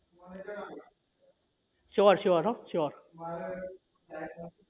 sure sure હન sure